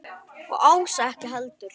Og Ása ekki heldur.